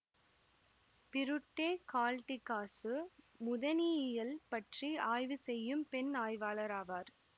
Birute Galdikas முதனியியல் பற்றி ஆய்வு செய்யும் பெண் ஆய்வாளர் ஆவார்